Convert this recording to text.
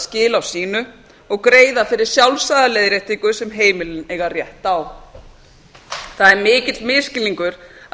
á sínu og greiða fyrir sjálfsagða leiðréttingu sem heimilin eiga rétt á það er mikill misskilningur að